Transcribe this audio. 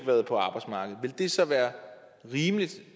været på arbejdsmarkedet vil det så være rimeligt